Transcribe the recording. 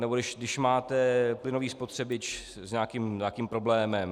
Nebo když máte plynový spotřebič s nějakým problémem.